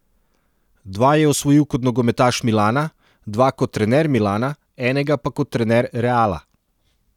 Dva je osvojil kot nogometaš Milana, dva kot trener Milana, enega pa kot trener Reala.